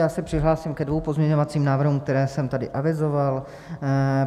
Já se přihlásím ke dvěma pozměňovacím návrhům, které jsem tady avizoval.